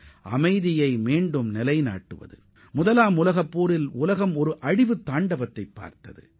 முதலாம் உலகப்போரின் போது பெருமளவிலான உயிரிழப்புகளும் பொருட்சேதங்களும் ஏற்பட்டதை இந்த உலகம் அறியும்